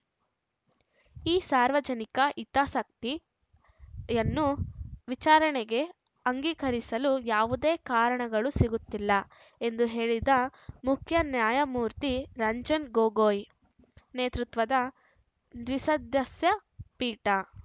ಈ ಸಾರ್ವಜನಿಕ ಹಿತಾಸಕ್ತಿಯನ್ನು ವಿಚಾರಣೆಗೆ ಅಂಗೀಕರಿಸಲು ಯಾವುದೇ ಕಾರಣಗಳು ಸಿಗುತ್ತಿಲ್ಲ ಎಂದು ಹೇಳಿದ ಮುಖ್ಯ ನ್ಯಾಯಮೂರ್ತಿ ರಂಜನ್‌ ಗೊಗೊಯ್‌ ನೇತೃತ್ವದ ದ್ವಿಸದಸ್ಯ ಪೀಠ